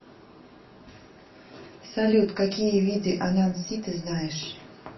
салют какие виды ананси ты знаешь